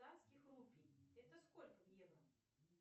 рупий это сколько в евро